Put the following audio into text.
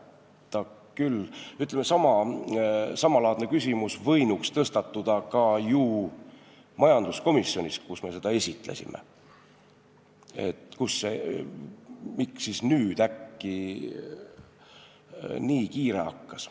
Samalaadne küsimus, et miks siis nüüd äkki nii kiire hakkas, oleks võinud tõstatuda ka ju majanduskomisjonis, kus me seda eelnõu esitlesime.